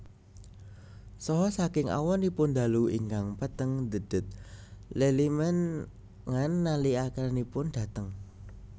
Saha saking awonipun dalu ingkang peteng dhedhet lelimengan nalikanipun dhateng